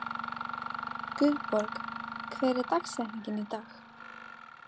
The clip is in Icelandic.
Guðborg, hver er dagsetningin í dag?